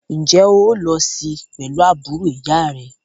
Ǹjẹ́ o óò lo sí pẹ̀lú àbúrò ìyá à rẹ?